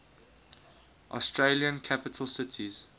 australian capital cities